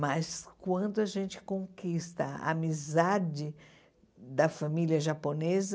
Mas quando a gente conquista a amizade da família japonesa,